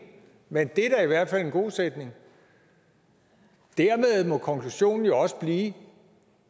men det er da i hvert fald en god sætning dermed må konklusionen jo også blive